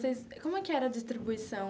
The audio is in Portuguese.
Como é que era a distribuição?